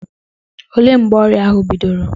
Olee mgbe ọrịa ahụ bidoro?